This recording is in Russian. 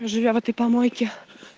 живя в этой помойке